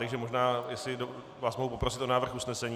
Takže možná jestli vás mohu poprosit o návrh usnesení?